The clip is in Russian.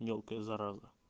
мелкая зараза